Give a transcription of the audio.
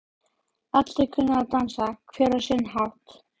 Allir kunna að dansa, hver á sinn hátt.